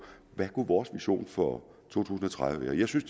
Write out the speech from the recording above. hvad kunne vores mission for to tusind og tredive være jeg synes